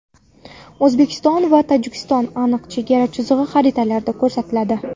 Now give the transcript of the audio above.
O‘zbekiston va Tojikistonning aniq chegara chizig‘i xaritalarda ko‘rsatiladi.